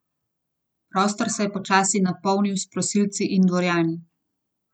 Prostor se je počasi napolnil s prosilci in dvorjani.